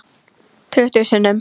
Tuttugu sinnum.